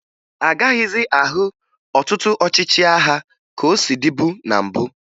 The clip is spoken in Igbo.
A gaghịzị ahụ ọtụtụ ọchịchị agha ka o si dịbu na mbụ